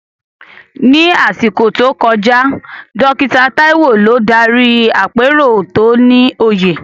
Ní àsìkò tó kọjá, Dókítà Taiwo ló darí àpérò tó ní òye.